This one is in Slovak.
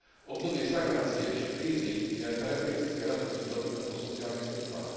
Obdobie stagnácie či krízy je charakteristické aj rastúcim dopytom po sociálnych službách.